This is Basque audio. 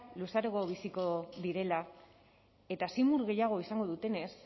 luzeago biziko direla eta zimur gehiago izango dutenez